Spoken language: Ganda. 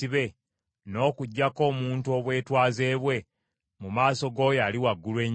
n’okuggyako omuntu obwetwaze bwe mu maaso g’Oyo Ali Waggulu Ennyo,